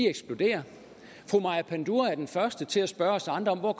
eksploderer og fru maja panduro er den første til at spørge os andre hvor